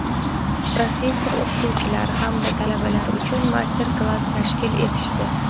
professor-o‘qituvchilar hamda talabalar uchun master-klass tashkil etishdi.